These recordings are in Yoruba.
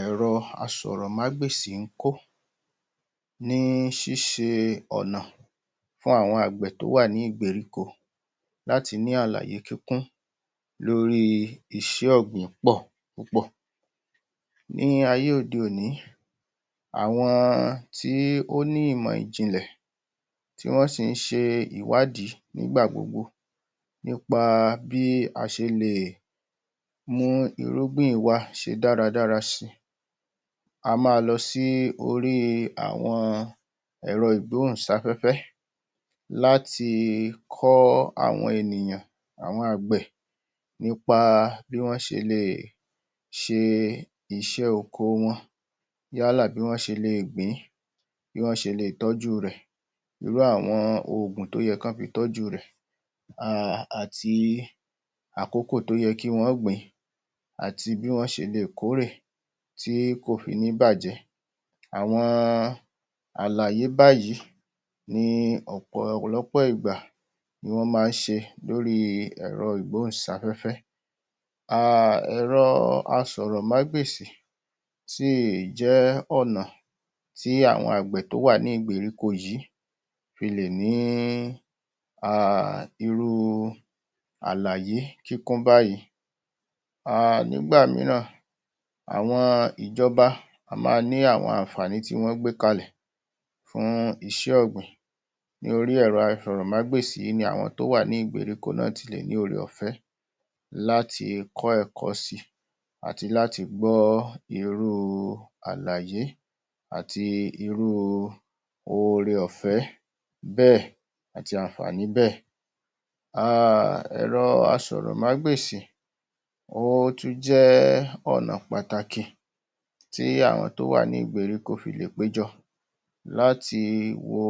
Ẹ̀rọ asọ̀rọ̀mágbèsì ń kó ní ṣíṣe ọ̀nà fún àwọn àgbẹ̀ tó wà ní ìgberíko láti ní àlàyé kíkún lórí iṣẹ ọ̀gbìn. Ní ayé òde-òní, àwọn tí ó ní ìmọ̀ ìjìnlẹ̀ tí wọ́n sì ń ṣe ìwádìí nígbà gbogbo nípa bí a ṣe lè mú irúgbìn wa ṣe dára dára si. A máa lọ sí orí àwọn ẹ̀rọ ìgbóhùnsáfẹ́fẹ́ láti kọ́ àwọn ènìyàn, àwọn àgbẹ̀, nípa bí wọ́n ṣe lè ṣe iṣẹ́ oko wọn yálà bí wọ́n ṣe lè gbìn-ín, bí wọ́n ṣe lè tọ́jú rẹ̀, irú àwọn oògùn tí ó yẹ kọ́ fi tọ́jú rẹ̀, err àti àkòkò tó yẹ kí wọ́n gbìn-ín, àti bí wọ́n ṣe lè kórè tí kò fi ní bàjẹ́. Àwọn àlàyé báyìí ni ọ̀pọ̀lọpọ̀ ìgbà ni wọ́n máa ń ṣe lóri ẹ̀rọ ìgbóhùnsáfẹ́fẹ́. Err Ẹ̀rọ asọ̀rọ̀mágbèsì sì jẹ ọ̀nà tí àwọn àgbẹ̀ tó wà ní ìgberíko yìí fi lè ni í err irú àlàyé kíkún báyìí. Err Nígbà míràn, àwọn ìjọba a máa ní àwọn àǹfààní tí wọ́n gbé ka lẹ̀ fún iṣẹ́ ọ̀gbìn ní orí ẹ̀rọ asọ̀rọ̀mágbèsì yìí ni àwọn tó wà ní ìgberíko náà ti lè rí ore-ọ̀fẹ́ láti kó ẹ̀kọ́ si àti láti gbọ́ irú àlàyé àti irú ore-ọ̀fẹ́ bẹ́ẹ̀ àti àǹfààní bẹ́ẹ̀. Err Ẹ̀rọ asọ̀rọ̀mágbèsì ó tún jẹ́ ọ̀nà pàtàkì tí àwọn tó wà ní ìgberíko fi lè péjọ láti wo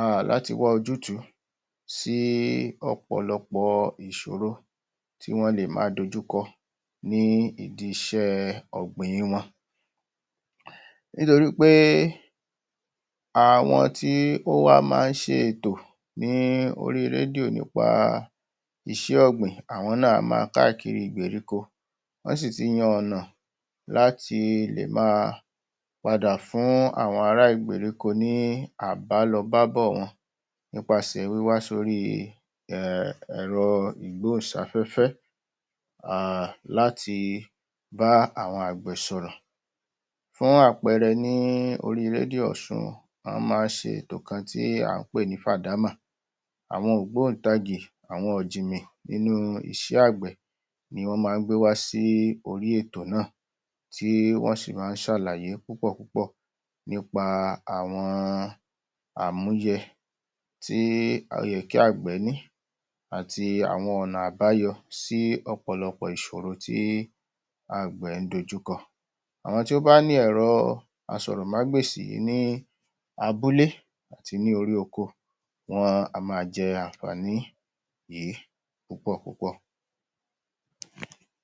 err láti wá ojú tù ú sí ọ̀pọ̀lọpọ̀ ìsòro tí wọ́n lè ma dojúkọ ní ìdí iṣẹ́ ọ̀gbìn wọn. Nítorí pé àwọn tí ó wá máa ń ṣe ètò ní orí rédíò nípa iṣẹ́ ọ̀gbìn ,àwọn náà á ma káàkiri ìgberíko, wọ́n sì tì yan ọ̀nà láti lè ma padà fún àwọn ara ìgberíko ní àbálọbábọ̀ wọn nípaṣe wíwá sórí err ẹ̀rọ ìgbóhùnsáfẹ́fẹ́ err láti bá àwọn àgbẹ̀ sọ̀rọ̀. Fún àpẹẹrẹ ní orí rédíò Ọ̀sun, wọ́n máa ń ṣe ètò kan tí à ń pè ní ‘Fàdámà’, àwọn ògbóǹtagì, àwọn ọ̀jìmì nínú iṣẹ́ àgbẹ̀ ni wọ́n máa ń gbé wá sí orí ètò náà, tí wọ́n sì máa ń ṣàlàyé púpọ̀ púpọ̀ nípa àwọn àmúyẹ tí ó yẹ kí àgbẹ̀ ni àti àwọn ọ̀nà àbáyọ sí ọ̀pọ̀lọpọ̀ ìṣoro tí àgbẹ̀ ń dojúkọ. Àwọn tí ó bá ni ẹ̀rọ asọ̀rọ̀mágbèsì yìí ní abúlé àti ní orí oko, wọn á ma jẹ àǹfààní yìí púpọ̀ púpọ̀.